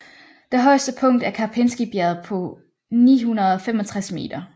Det højeste punkt er Karpinskybjerget på 965 m